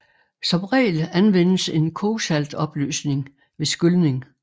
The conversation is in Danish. Som regel anvendes en kogsaltopløsning ved skylning